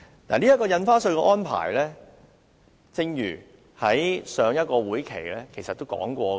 有關印花稅的安排，在上個會期其實已討論過。